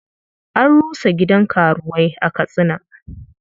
An rusa gidan karuwai a Katsina.